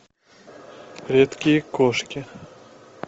редкие кошки